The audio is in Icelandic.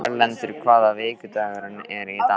Erlendur, hvaða vikudagur er í dag?